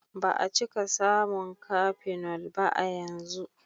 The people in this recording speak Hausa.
Ba a cika samun cafenol ba a yanzu.